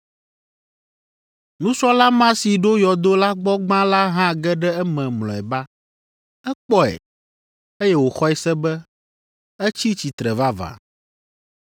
Nusrɔ̃la ma si ɖo yɔdo la gbɔ gbã la hã ge ɖe eme mlɔeba. Ekpɔe, eye wòxɔe se be, etsi tsitre vavã.